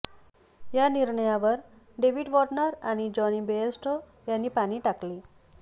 या निर्णयावर David Warner आणि जॉनी बेअरस्टो पाणी टाकले